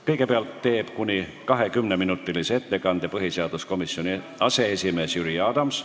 Kõigepealt teeb kuni 20-minutilise ettekande põhiseaduskomisjoni aseesimees Jüri Adams.